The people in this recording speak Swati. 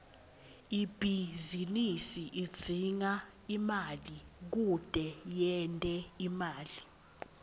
ibhizinisi idzinga imali kute yente imali